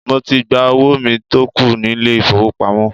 Mo ti gba owó mi tó kù nílé ìfowópamọ́.